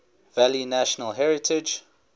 valley national heritage